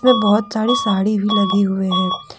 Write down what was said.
बहोत सारी साड़ी भी लगे हुए हैं।